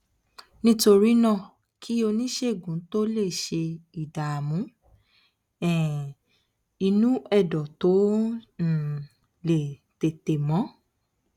nítorí náà kí oníṣègùn tó lè ṣe ìdààmú um inú ẹdọ tó um lè tètè mọ